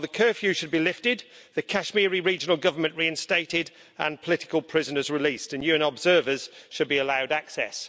Well, the curfew should be lifted, the Kashmiri Regional Government reinstated and political prisoners released, and UN observers should be allowed access.